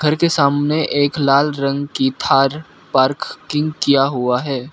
घर के सामने एक लाल रंग की थार पार्किंग किया हुआ है।